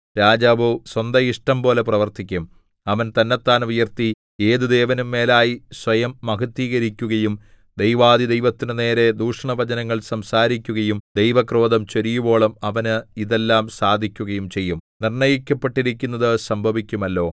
രാജാവോ സ്വന്തഇഷ്ടംപോലെ പ്രവർത്തിക്കും അവൻ തന്നെത്താൻ ഉയർത്തി ഏതു ദേവനും മേലായി സ്വയം മഹത്ത്വീകരിക്കുകയും ദൈവാധിദൈവത്തിന്റെ നേരെ ദൂഷണവചനങ്ങൾ സംസാരിക്കുകയും ദൈവക്രോധം ചൊരിയുവോളം അവന് ഇതെല്ലാം സാധിക്കുകയും ചെയ്യും നിർണ്ണയിക്കപ്പെട്ടിരിക്കുന്നത് സംഭവിക്കുമല്ലോ